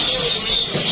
Təmiz, təmiz, təmiz.